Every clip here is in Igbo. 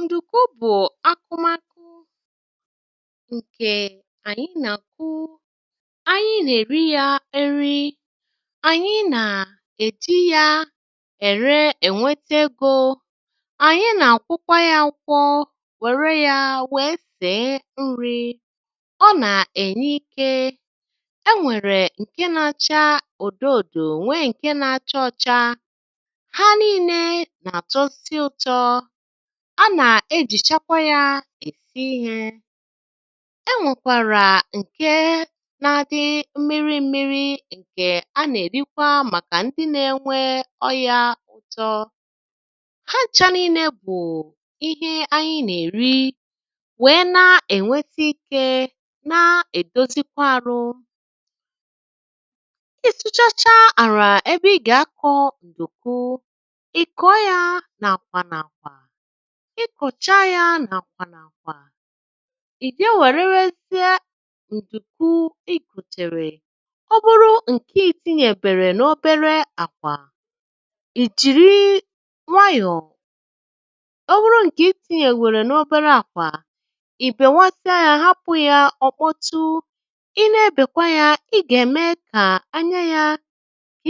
Ndùkwú bụ̀ ákụmakụ ǹkè ànyị nà-àkụ, ànyị nà-èri yȧ eri, ànyị nà-èji yȧ ère ènwete egȯ, ànyị nà-àkwokwa yȧ akwọ wère yȧ wèe sèe nri̇, ọ nà-ènye ikė, e nwèrè ǹke nȧ-ȧchȧ odo òdo nwee ǹke nȧ-ȧchȧ ọ̇chȧ, ha niile nà-àtọzi ụtọ, a nà-ejìchakwa ya èsi ihė, enwèkwàrà ǹke na-adị mmiri mmiri̇ ǹkè a na-erikwa màkà ndị na-enwe ọyȧ ụtọ, ha nchȧ niile bụ̀ ihe anyị nà-èri wèe na-ènwete ikė, na-èdozikwa àrụ, ịsụ ha ha ala ebe ịga-akọ nduku, ì kọọ ya n'àkwà n'àkwà, ị kọ̀chaa yȧ nà-àkwà nàkwà, ì je wèrewezịe ǹdùku i goteèrè, ọ́bụrụ ǹke iti̇nyėbèghi n’obere àkwà, ì jìri nwayọ̀, ọ bụrụ ǹkè iti̇nyèbèrè n’obere àkwà ì bèwasịa yȧ hapụ̇ yȧ ọ̀kpọtu ị na-ebèkwa yȧ ị gà-ème kà anya yȧ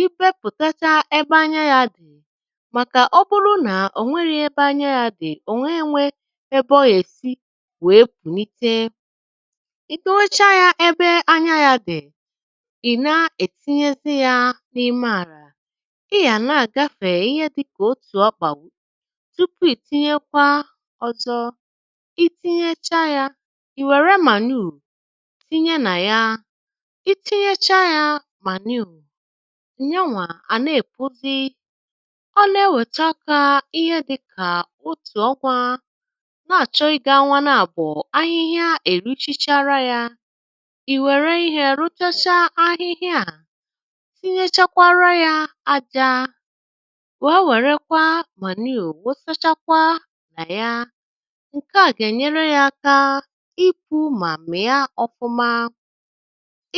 ibeputacha ebe anya dị màkà ọ bụrụ nà ò nweri ebe anya ya dị̀, ò nwee enwė ebe ọ yèsi wèe pụ̀nite, ibewechaa yȧ ebe anya ya dị̀ ì na-ètinyezi yȧ n’ime àr, à ị yà na-àgafè ihe dị̇kà otù ọkpà (wụ) tupu ì tinye kwa ọzọ ị tinyecha yȧ ì wère manuu tinye nà ya, i tinyecha yȧ manuu, nyanwà àna èpuzi, ọ nà-ewèta aka ihe dị̇ kà otù ọnwȧ na-àchọ ịgȧ-onwȧ n'àbụ̀ ahịhịa èruchichala ya, ì wère ihė ruchacha ahịhịa a tinyechakwa ya aja wèe werekwa mànuu wusachakwa nà ya, ǹkè a gà-ènyere ya aka ipu̇ mà mia ọfụma,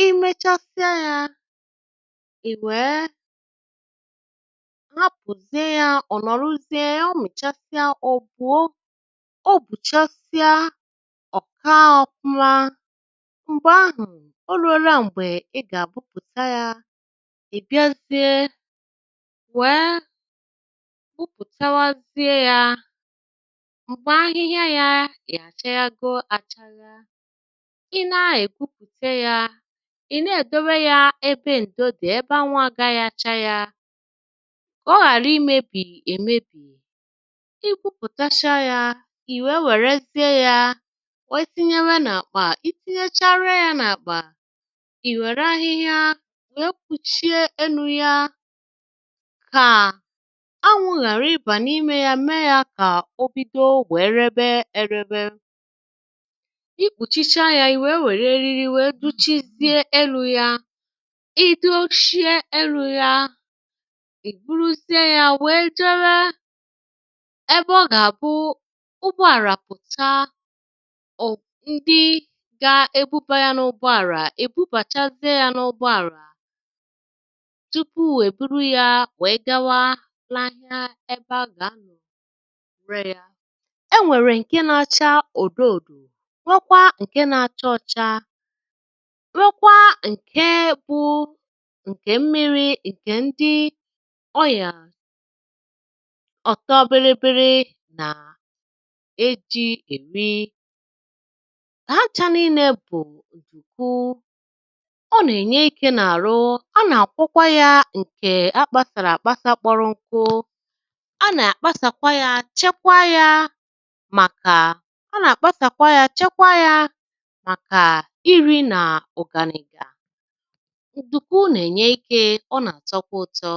i mechasịa ya ì wèe hapụzie ha, ọ̀ nọ̀rọzie ya mụ̀chasịa ọ̀ bụ̀o obùchasịa ọ̀ kaȧ ọ̇fụ̇mȧ, m̀gbè ahụ̀ o ruola m̀gbè e gà-agwụpụ̀ta yȧ, ibiazie nwèe gwụpụ̀tawa ziė yȧ m̀gbè ahịhịa yȧ achaaghago achagha, i nee è gwupùta yȧ ì na-èdowe yȧ ebe ǹdo dì ebe anwụ gaghi acha yȧ ka ọ ghara imebi emebi, ikwupùtacha ya i wee wèrezie ya wee tinyewe nà-àkpà i tinyechara ya n’àkpà ì wère ahịhịa wee kpùchie enu̇ ya kà anwụ̇ ghàra ibà n’imė ya mee ya kà o bido rebe e rebe, ikpùchicha ya i wee wère eriri wee duchizie elu̇ ya, iduchi enu ya, iburuzie ya wee jeebe ebe ọ gà-àbụ ụgbọ àrà pụ̀ta ọbụ ndi ga-ebubȧ ya n’ụgbọ àrà, èbubàchazie ya n’ụgbọ àrà tupu eburu ya wèe gawaa n'ahịa ebe a gà-anọ̀ nwẹ̀e rẹ̀ ya, e nwèrè ǹkẹ na-acha odo odo nwekwa ǹkẹ na-acha ọcha nweekwa ǹkẹ bụ nke mmiri nke dị na-ọrịa ọ̀tọ biri biri nà e jị̇ èmị, hancha niinė bù ndùku, ọ nà-ènye ikė n’àrụ a nà-akwokwa ya ǹkè a kpȧsàrà àkpọrọ nkụ, a nà-àkpasàkwa ya, chekwa ya màkà a nà-àkpasàkwa ya, chekwa ya màkà iri̇ nà ugàni̇ gà. Nduku nà-ènye ikė, ọ nà-àtọkwa ụtọ.